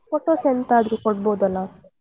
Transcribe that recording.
Photos ಎಂತಾದ್ರೂ ಕೊಡಬೋದಲ್ಲ.